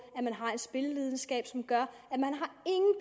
en spillelidenskab som gør at de